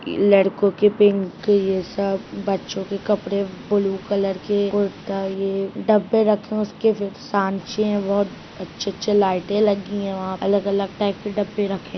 लड़कों के पिंक ये सब बच्चों के कपड़े ब्लू कलर के कुर्ता ये डब्बे रखे हुए है उसके फिर सांचे है बहुत अच्छे-अच्छे लाइटे लगी है वहाँ अलग-अलग टाइप के डब्बे रखे।